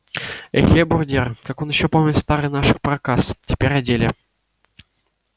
эхе брудер так он еше помнит стары наши проказ теперь о деле